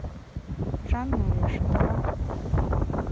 жанна решетова